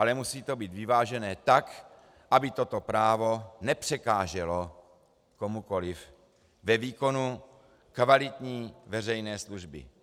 Ale musí to být vyvážené tak, aby toto právo nepřekáželo komukoliv ve výkonu kvalitní veřejné služby.